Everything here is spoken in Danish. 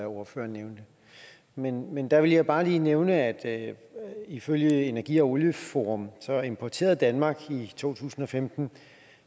ordføreren nævnte men men der vil jeg bare lige nævne at ifølge energi og olieforum importerede danmark i to tusind og femten